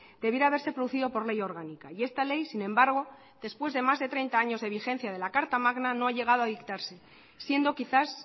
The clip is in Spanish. debiera haberse producido por ley orgánica y esta ley sin embargo después de más de treinta años de vigencia de la carta magna no ha llegado a dictarse siendo quizás